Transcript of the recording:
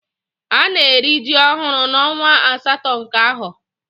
Ana eri ji ohuru na onwa asato nke aho